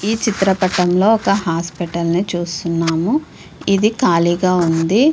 ఈ చిత్ర పటం లో ఒక హాస్పిటల్ చూస్తున్నాము. ఇది ఖాళీగా ఉంది.